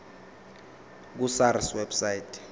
ku sars website